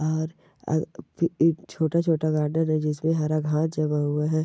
और अ- ई- इ छोटा छोटा गार्डन है जिस मे हरा घास जमा हुआ है।